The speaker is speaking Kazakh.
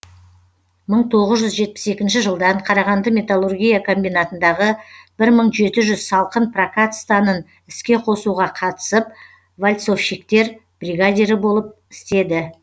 мың тоғыз жүз жетпіс екінші жылдан қарағанды металлургия комбинатындағы бір мың жеті жүз салқын прокат станын іске қосуға қатысып вальцовщиктер бригадирі болып істеді